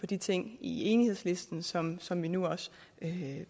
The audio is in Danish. de ting i enighedslisten som som vi nu også